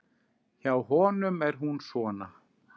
Hjá honum er hún svona